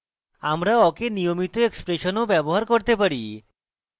আমরা awk we নিয়মিত expression ও ব্যবহার করতে পারি